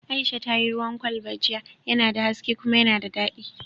Aisha ta yi ruwan kwalba jiya, yana da haske kuma yana da daɗi